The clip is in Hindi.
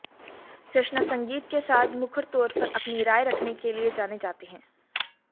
कृष्णा संगीत के साथ मुखर तौर पर अपनी राय रखने के लिए जाने जाते हैं